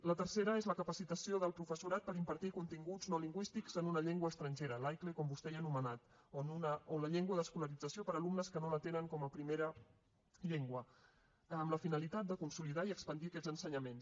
la tercera és la capacitació del professorat per impartir continguts no lingüístics en una llengua estrangera l’aicle com vostè ja ha anomenat o en la llengua d’escolarització per a alumnes que no la tenen com a primera llengua amb la finalitat de consolidar i expandir aquests ensenyaments